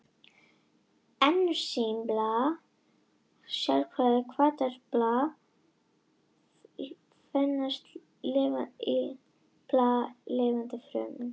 Ensím eru sérhæfðir hvatar sem finnast í lifandi frumum.